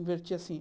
Invertia assim.